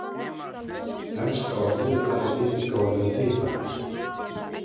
Enska orðið er talið stytting á orðinu pipar.